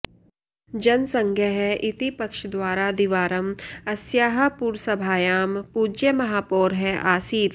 जनसङ्घः इति पक्षद्वारा द्विवारम् अस्याः पुरसभायां पूज्यमहापौरः आसीत्